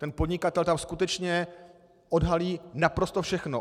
Ten podnikatel tam skutečně odhalí naprosto všechno.